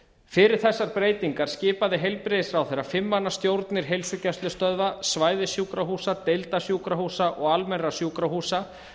fyrir þessar breytingar skipaði heilbrigðisráðherra fimm manna stjórnir heilsugæslustöðva svæðissjúkrahúsa deildasjúkrahúsa og almennra sjúkrahúsa